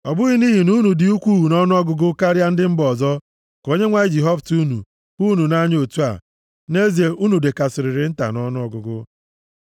Ọ bụghị nʼihi na unu dị ukwuu nʼọnụọgụgụ karịa ndị mba ọzọ, ka Onyenwe anyị ji họpụta unu, hụ unu nʼanya otu a, nʼezie unu dịkarịsịrị nta nʼọnụọgụgụ.